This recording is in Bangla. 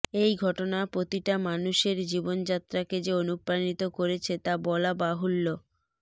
এই ঘটনা প্রতিটা মানুষের জীবনযাত্রাকে যে অনুপ্রাণিত করেছে তা বলা বাহুল্য